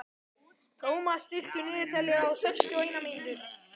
Thomas, stilltu niðurteljara á sextíu og eina mínútur.